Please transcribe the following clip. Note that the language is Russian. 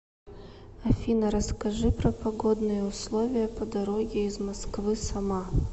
афина расскажи про погодные условия по дороге из москвы сама